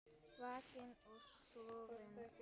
Vakinn og sofinn.